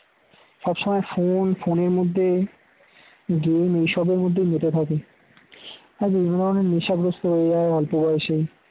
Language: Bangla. সব সময় phone phone এর মধ্যে game এইসবের মধ্যেই মেতে থাকে আর এই ধরনের নেশাগ্রস্থ হয়ে যায় অল্প বয়সেই